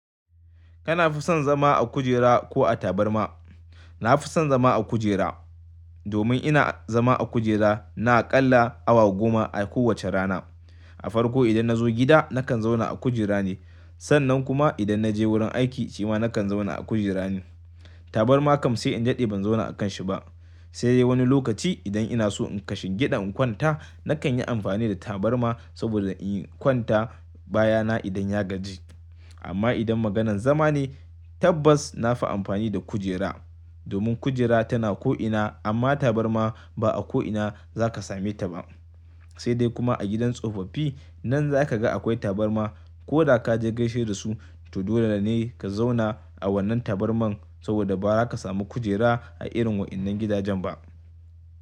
Kana fi son zama a kujera ko a tabarma? Na fi son zama a kujera. Domin ina zama a kujera, na aƙalla awa goma a kowace rana. A farko idan nazo gida nakan zauna a kujera ne. Sannan kuma idan naje wurin aiki, cima nakan zauna a kujera ne. Tabarma kam sai in jaɗi ban zauna a kanshi ba. Sai dai wani lokaci idan ina so in kashe gyaɗa in kwanta, nakan yi amfani da tabarma saboda in yi kwanta baya na idan ya gaji. Amma idan maganan zama ne, tabbas na fi amfani da kujera. Domin kujera tana ko'ina amma tabarma ba a ko'ina zaka same ta ba. Sai dai kuma a gidan tsofaffi nan za ka ga akwai tabarma. Ko da ka je gaishe da su, to dole ne ka zauna a wannan tabarmar saboda ba za ka samu kujera a irin waɗannan gidajen ba.